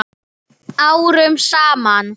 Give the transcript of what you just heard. Árum saman?